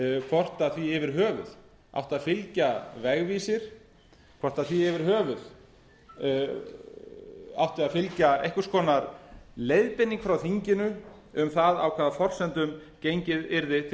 hvort því yfir höfuð átti að fylgja vegvísir hvort því yfir höfuð átti að fylgja einhvers konar leiðbeining frá þinginu um það á hvaða forsendum gengið yrði